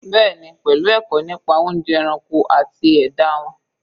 Bẹ́ẹ̀ni, pelu ẹ̀kọ́ nípa oúnjẹ ẹranko àti ẹ̀dá won